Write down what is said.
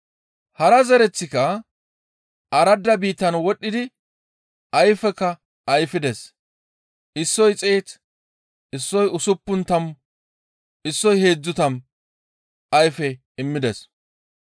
Hara zereththika aradda biittan wodhdhidi ayfekka ayfides; issoy xeetu, issoy usuppun tammu, issoy heedzdzu tammu ayfe immides.